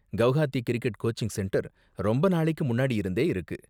Guwahati cricket coaching centre ரொம்ப நாளைக்கு முன்னாடி இருந்தே இருக்கு.